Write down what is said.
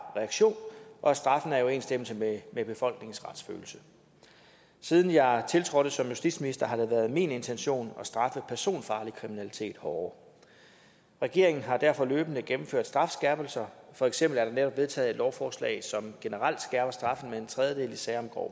reaktion og at straffen er i overensstemmelse med med befolkningens retsfølelse siden jeg tiltrådte som justitsminister har det været min intention at straffe personfarlig kriminalitet hårdere regeringen har derfor løbende gennemført strafskærpelser for eksempel er der netop vedtaget et lovforslag som generelt hæver straffen med en tredjedel i sager om grov